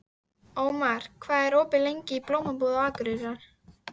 Ómar, hvað er opið lengi í Blómabúð Akureyrar?